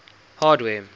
hardware